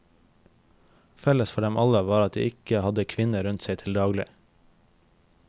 Felles for dem alle var at de ikke hadde kvinner rundt seg til daglig.